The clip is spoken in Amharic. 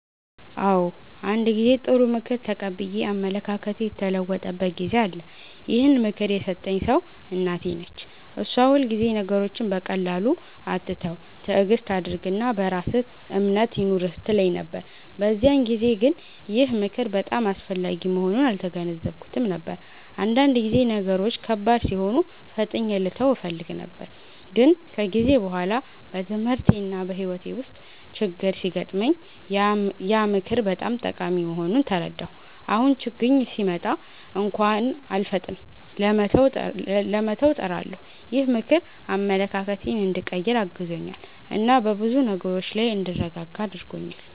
አዎ፣ አንድ ጊዜ ጥሩ ምክር ተቀብዬ አመለካከቴ የተለወጠበት ጊዜ አለ። ይህን ምክር የሰጠኝ ሰው እናቴ ነች። እሷ ሁልጊዜ “ነገሮችን በቀላሉ አትተው፣ ትዕግስት አድርግ እና በራስህ እምነት ይኑርህ” ትለኝ ነበር። በዚያን ጊዜ ግን ይህ ምክር በጣም አስፈላጊ መሆኑን አልተገነዘብኩትም ነበር፤ አንዳንድ ጊዜ ነገሮች ከባድ ሲሆኑ ፈጥኜ ልተው እፈልግ ነበር። ግን ከጊዜ በኋላ በትምህርቴና በሕይወቴ ውስጥ ችግኝ ሲገጥመኝ ያ ምክር በጣም ጠቃሚ መሆኑን ተረዳሁ። አሁን ችግኝ ሲመጣ እንኳን አልፈጥንም ለመተው፣ እጥራለሁ። ይህ ምክር አመለካከቴን እንዲቀይር አግዞኛል እና በብዙ ነገሮች ላይ እንድረጋጋ አድርጎኛል።